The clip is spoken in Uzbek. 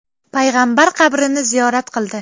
payg‘ambar qabrini ziyorat qildi.